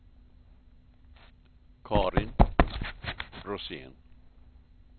Carin Rosén